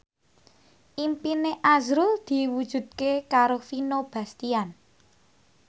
impine azrul diwujudke karo Vino Bastian